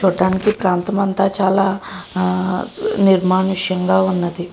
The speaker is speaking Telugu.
చూట్టానికి ప్రాంతం అంతా చాలా ఆ నిర్మానుషంగా ఉన్నది.